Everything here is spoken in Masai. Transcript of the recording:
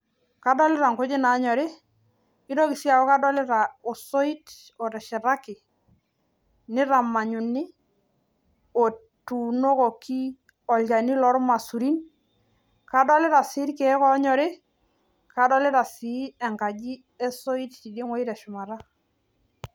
kadolita nkujit naanyori kadoolta sii osoit oteshetaki nitamanyuni otuunokoki olchani loormaisurin kadolita sii irkeek oonyori wenkaji e soit tine teshumata